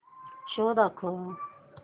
show दाखव